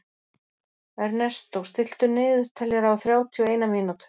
Ernestó, stilltu niðurteljara á þrjátíu og eina mínútur.